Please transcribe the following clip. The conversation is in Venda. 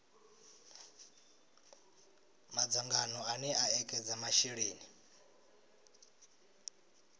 madzangano ane a ekedza masheleni